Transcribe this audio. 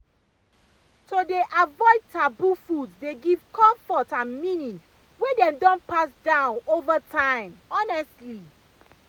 to dey avoid taboo foods dey give comfort and meaning wey dem don pass down over time honestly